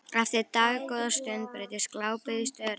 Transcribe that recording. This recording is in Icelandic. Eftir dágóða stund breytist glápið í störu.